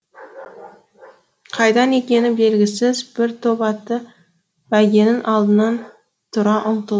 қайдан екені белгісіз бір топ атты бәйгенің алдынан тұра ұмтыл